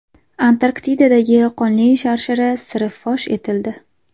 Antarktidadagi Qonli sharshara siri fosh etildi.